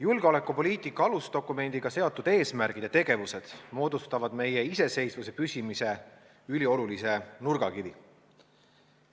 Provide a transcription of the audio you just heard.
Julgeolekupoliitika alusdokumendiga seotud eesmärgid ja tegevused moodustavad meie iseseisvuse püsimise üliolulise nurgakivi.